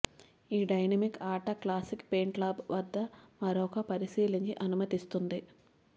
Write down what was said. ఈ డైనమిక్ ఆట classic paintball వద్ద మరొక పరిశీలించి అనుమతిస్తుంది